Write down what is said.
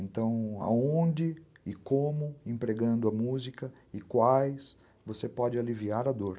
Então, aonde e como, empregando a música e quais, você pode aliviar a dor.